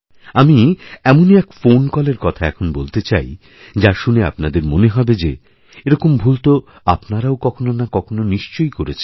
আমি এমনই এক ফোন কলের কথা এখন বলতেচাই যা শুনে আপনাদের মনে হবে যে এরকম ভুল তো আপনারাও কখনো না কখনো নিশ্চয়ই করেছেন